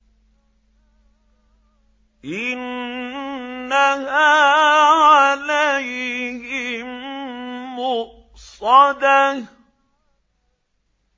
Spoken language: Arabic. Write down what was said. إِنَّهَا عَلَيْهِم مُّؤْصَدَةٌ